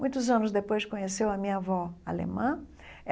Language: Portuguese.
Muitos anos depois, conheceu a minha avó alemã.